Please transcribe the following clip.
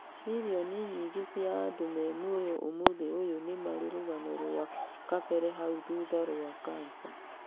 Mirioni nyingĩ cia andũ me muoyo ũmũthĩ ũyũ nĩmarĩ rũgano rwa kabere hau thutha rwa Cancer.